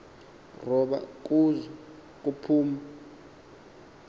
ruba kuzo kuphum